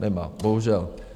Nemá, bohužel.